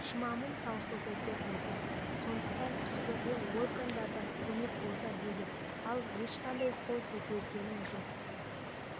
шымамым таусылды деп отыр сондықтан құзырлы органдардан көмек болса дейді ал ешқандай қол көтергенім жоқ